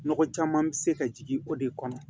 Nɔgɔ caman bɛ se ka jigin o de kɔnɔ